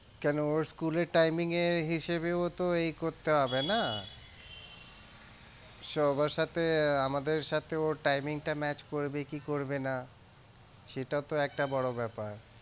কেন ওর school এর timing এর হিসেবেও তো এই করতে হবে না, সবার সাথে আমাদের সাথে ওর timing টা match করবে কি করবে না? সেটা তো একটা বড়ো ব্যাপার।